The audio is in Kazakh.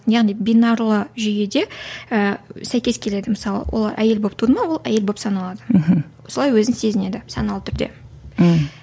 яғни бинарлы жүйеде ііі сәйкес келеді мысалы олар әйел болып туды ма ол әйел болып саналады мхм осылай өзін сезінеді саналы түрде мхм